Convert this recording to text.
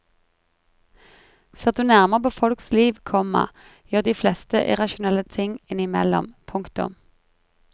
Ser du nærmere på folks liv, komma gjør de fleste irrasjonelle ting innimellom. punktum